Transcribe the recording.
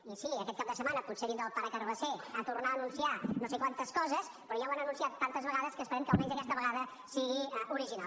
i sí aquest cap de setmana potser vindrà el pare carabasser a tornar a anunciar no sé quantes coses però ja ho han anunciat tantes vegades que esperem que almenys aquesta vegada sigui original